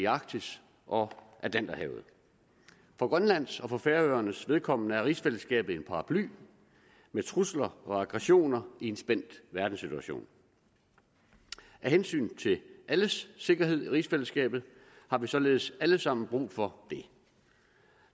arktis og atlanterhavet for grønlands og for færøernes vedkommende er rigsfællesskabet en paraply mod trusler og aggressioner i en spændt verdenssituation af hensyn til alles sikkerhed i rigsfællesskabet har vi således alle sammen brug for det